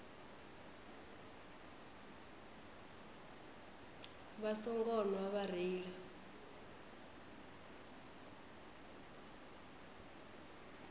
vha songo nwa vha reila